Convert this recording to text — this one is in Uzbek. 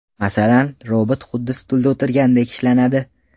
Masalan, robot xuddi stulda o‘tirgandek ishlanadi.